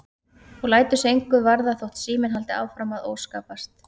Og lætur sig engu varða þótt síminn haldi áfram að óskapast.